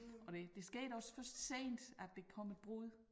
Og det det skete også først sent at der kom et brud